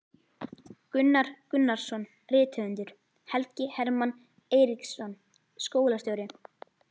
Gunnar Gunnarsson rithöfundur, Helgi Hermann Eiríksson skólastjóri